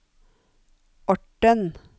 Orten